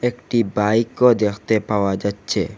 একটি বাইকও দেখতে পাওয়া যাচ্ছে।